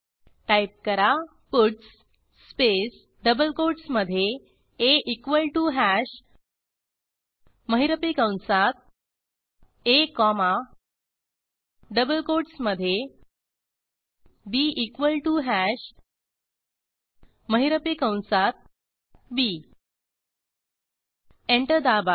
type करा puts space double कोटसमधे a equal to hash महिरपी कंसात आ कॉमा डबल कोटसमधे बी इक्वॉल टीओ हॅश महिरपी कंसात बी एंटर दाबा